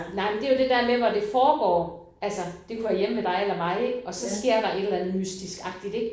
Nej men det jo det der med hvor det foregår altså det kunne være hjemme ved dig eller mig ik og så sker der et eller andet mystisk agtigt ik